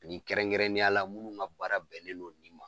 Nin kɛrɛnkɛrɛnnenya la munnu ka baara bɛnnen don nin ma.